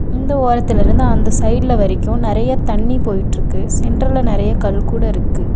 இந்த ஓரத்தில இருந்து அந்த சைடுல வரைக்கு நெறையா தண்ணி போயிட்ருக்கு சென்டர்ல நெறையா கல் கூட இருக்கு.